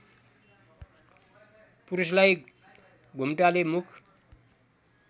पुरुषलाई घुम्टाले मुख